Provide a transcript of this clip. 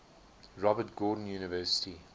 robert gordon university